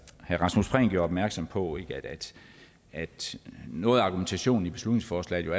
rasmus prehn gjorde opmærksom på at noget af argumentationen i beslutningsforslaget jo